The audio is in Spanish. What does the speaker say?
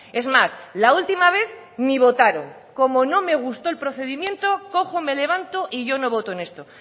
es más la última vez ni votaron como no me gustó el procedimiento cojo me levanto y yo no voto en esto